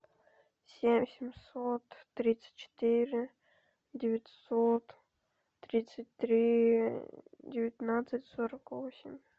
семь семьсот тридцать четыре девятьсот тридцать три девятнадцать сорок восемь